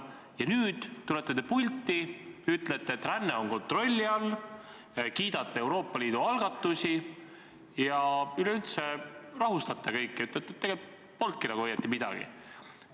Ja nüüd te tulete pulti, ütlete, et ränne on kontrolli all, kiidate Euroopa Liidu algatusi ja üleüldse rahustate kõiki, ütlete, et polnudki õieti midagi.